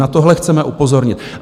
Na tohle chceme upozornit.